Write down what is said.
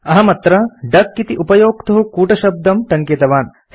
अहमत्र डक इति उपयोक्तुः कूटशब्दं टङ्कितवान्